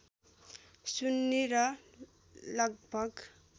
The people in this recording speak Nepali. सुन्नी र लगभग